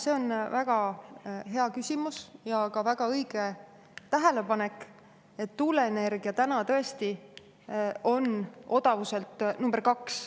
See on väga hea küsimus ja väga õige tähelepanek, et tuuleenergia täna tõesti on odavuselt number kaks.